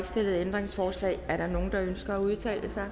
stillet ændringsforslag er der nogen der ønsker at udtale sig